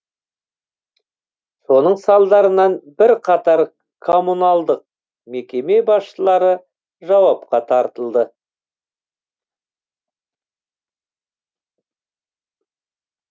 соның салдарынан бірқатар коммуналдық мекеме басшылары жауапқа тартылды